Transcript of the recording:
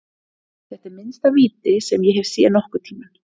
Þetta er minnsta víti sem ég hef séð nokkurntímann.